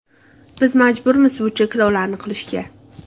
Biz majburmiz bu cheklovlarni qilishga.